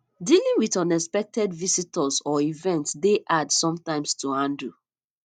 dealing with unexpected visitors or events dey hard sometimes to handle